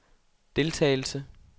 deltagelse